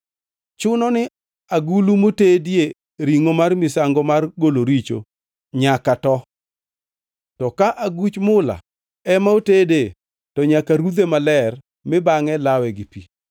Chunoni agulu motedie ringʼo mar misango mar golo richo nyaka too; to ka aguch mula ema otedee, to nyaka rudhe maler mi bangʼe lawe gi pi.